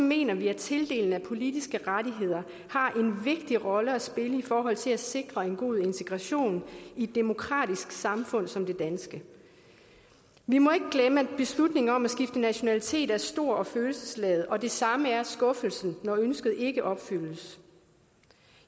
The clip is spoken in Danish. mener vi at tildeling af politiske rettigheder har en vigtig rolle at spille i forhold til at sikre en god integration i et demokratisk samfund som det danske vi må ikke glemme at beslutningen om at skifte nationalitet er stor og følelsesladet og det samme er skuffelsen når ønsket ikke opfyldes